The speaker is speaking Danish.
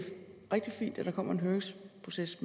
rigtig fint at der kommer en høringsproces